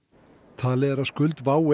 talið er að skuld WOW